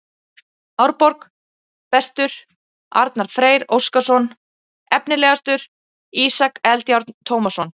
Árborg: Bestur: Arnar Freyr Óskarsson Efnilegastur: Ísak Eldjárn Tómasson